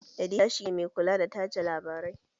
Edita shi ne mai kula da tace labarai